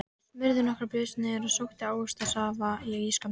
Hann smurði nokkrar brauðsneiðar og sótti ávaxtasafa í ísskápinn.